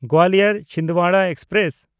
ᱜᱳᱣᱟᱞᱤᱭᱚᱨ–ᱪᱷᱤᱱᱫᱣᱟᱲᱟ express